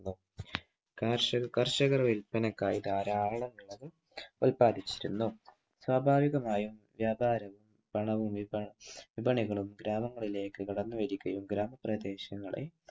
കർഷകർ വിൽപ്പനക്കായി ധാരാളം കളം ഉൽപാദിപ്പിച്ചിരുന്നു. സ്വാഭാഭികമായും വ്യാപാരികളും പണവും വിപണികളും ഗ്രാമങ്ങളിലേക്ക് കടന്നുവരികയും ഗ്രാമ പ്രദേശങ്ങളെ